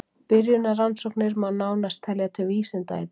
Byrjunarrannsóknir má nánast telja til vísinda í dag.